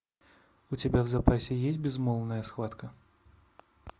у тебя в запасе есть безмолвная схватка